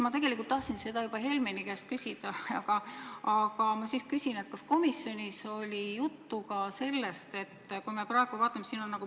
Ma tegelikult tahtsin seda juba Helmeni käest küsida, aga küsin nüüd sinu käest.